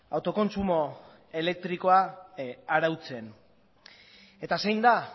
autokontsumo elektrikoa arautzen eta zein da